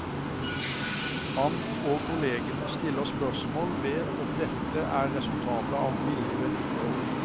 Han og kollegene stiller spørsmål ved om dette er resultatet av billig vedlikehold.